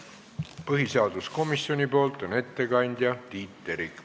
Põhiseaduskomisjoni ettekandja on Tiit Terik.